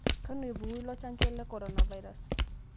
Kanu epuku ilo chanjo le korona virus